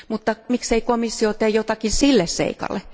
Mutta miksei komissio tee jotakin sille seikalle?